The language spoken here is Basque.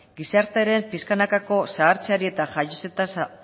gizartearen pixkanakako zahartzeari eta jaiotze tasa